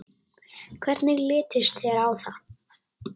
Hvernig litist þér á það?